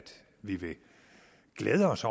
vi vil glæde os